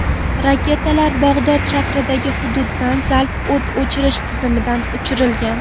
Raketalar Bag‘dod sharqidagi hududdan zalp o‘t ochish tizimidan uchirilgan.